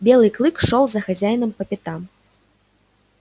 белый клык шёл за хозяином по пятам